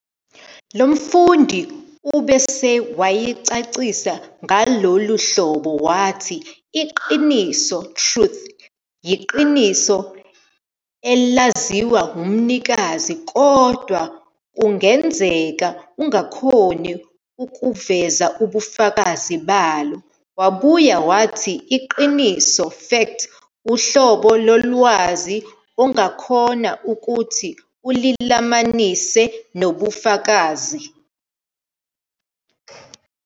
Lomfundi ubese wayicacisa ngalohlobo wathi "iqiniso, Truth, yiqiniso elaziwa umnikazi kodwa kungenzeka ungakhoni ukuveza ubufakazi balo, wabuya wathi iqiniso, fact, uhlobo lo lwazi ongakhona ukuthi ulilamanise nobufakazi".